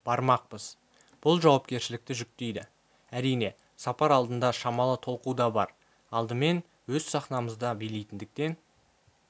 бармақпыз бұл жауапкершілікті жүктейді әрине сапар алдында шамалы толқу да бар алдымен өз сахнамызда билейтіндіктен